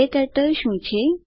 ક્ટર્ટલ શું છે